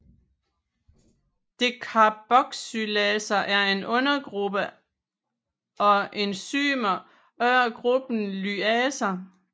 Decarboxylaser er en undergruppe af enzymer under gruppen lyaser